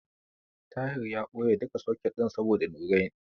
Tahir ya ɓoye duka soket ɗin saboda Nurain.